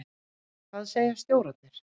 Hvað segja stjórarnir?